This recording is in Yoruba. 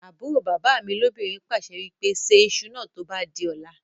àbúrò bàbá mi lóbìnrin pàṣẹ wípé "Ṣe ìṣù náà tó bá di ọ̀la